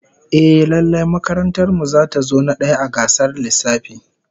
Ehh, lallai makarantar mu zata zo na daya a gasar lissafi